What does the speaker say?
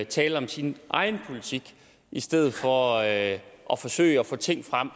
tale om sin egen politik i stedet for at at forsøge at få ting frem